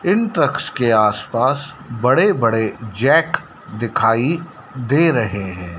इन trucks के आसपास बड़े बड़े जैक दिखाई दे रहे हैं।